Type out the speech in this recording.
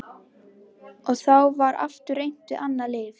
Og þá var aftur reynt við annað lyf.